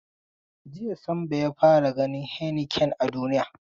Jiya Sambo ya fara ganin heinekena a duniya.